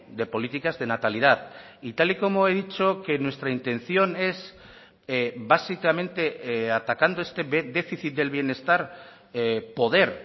de políticas de natalidad y tal y como he dicho que nuestra intención es básicamente atacando este déficit del bienestar poder